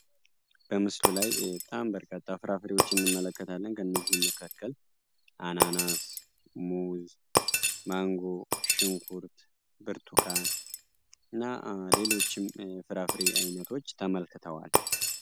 በምስሉ ላይ በጣም በርካታ ፍራፍሬዎችን እንመለከታለን ከእነዚህም መካከል አናናስ፣ ሙዝ፣ ማንጎ፣ ሽንኩርት፣ ብርቱካን እና ሌሎችም ፍራፍሬ አይነቶች ተመላክተዋል።